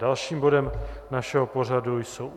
Dalším bodem našeho pořadu jsou